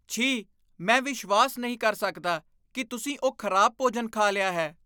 ਛੀ! ਮੈਂ ਵਿਸ਼ਵਾਸ ਨਹੀਂ ਕਰ ਸਕਦਾ ਕਿ ਤੁਸੀਂ ਉਹ ਖ਼ਰਾਬ ਭੋਜਨ ਖਾ ਲਿਆ ਹੈ।